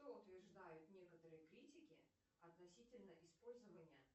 что утверждают некоторые критики относительно использования